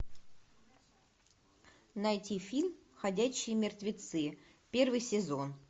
найти фильм ходячие мертвецы первый сезон